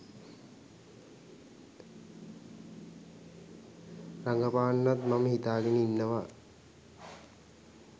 රඟපාන්නත් මම හිතාගෙන ඉන්නවා